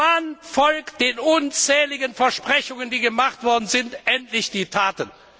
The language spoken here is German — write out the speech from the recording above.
Wann folgen den unzähligen Versprechungen, die gemacht worden sind, endlich Taten?